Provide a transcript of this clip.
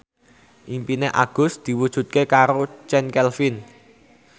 impine Agus diwujudke karo Chand Kelvin